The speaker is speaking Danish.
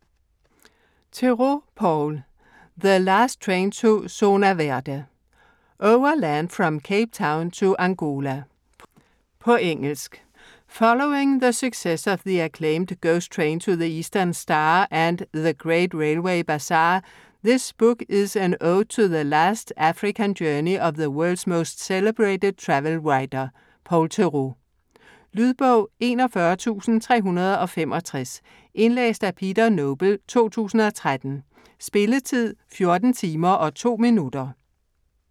Theroux, Paul: The last train to Zona Verde: overland from Cape Town to Angola På engelsk. Following the success of the acclaimed 'Ghost Train to the Eastern Star' and 'The Great Railway Bazaar', this book is an ode to the last African journey of the world's most celebrated travel writer, Paul Theroux. Lydbog 41365 Indlæst af Peter Noble, 2013. Spilletid: 14 timer, 2 minutter.